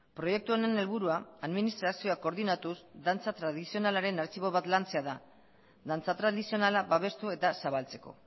proiektu honen helburua administrazioa koordinatuz dantza tradizionalaren artxibo bat lantzea da dantza tradizionala babestu eta zabaltzeko